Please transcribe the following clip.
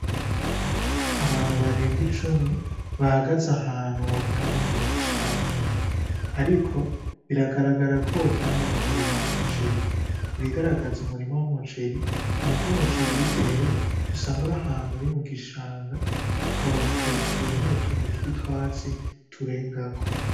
Abantu barenga icumi bahagaze ahantu wogira ngo ni mu gishanga, ariko biragaragara ko wogira ngo n'umurima w'umuceri, ibigaragaza umurima w'umuceri nuko umuceri iyo utewe usanga uri ahantu uri mu gishanga ukabona hejuru hari utuntu tw'utwatsi turengako.